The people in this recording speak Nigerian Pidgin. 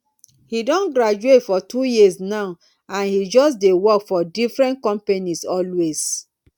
he don graduate for two years now and he just dey work for different companies always